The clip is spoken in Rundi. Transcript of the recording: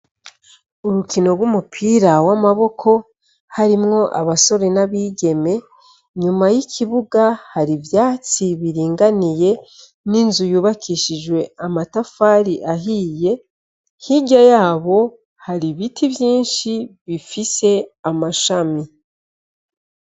Urukino rw'umupira w'amaboko, harimwo abasore n'abigeme, nyuma y'ikibuga hari ivyatsi biringaniye, n'inzu yubakishijwe amatafari ahiye, hirya yabo hari ibiti vyinshi bifise amashami.